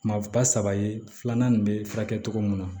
Maa ba saba ye filanan in bɛ furakɛ cogo min na